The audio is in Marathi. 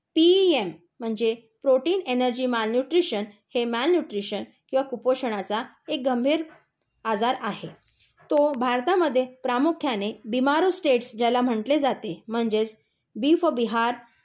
पीईएम म्हणजे प्रोटीन, एनर्जि, माल न्यूट्रिशन, हे माल न्यूट्रिशन किंवा कुपोषणाचा एक गंभीर आजार आहे. तो भारतामध्ये प्रामुख्याने बिमरो स्टेट्स ज्याला म्हंटले जाते, म्हणजे बी फॉर बिहार,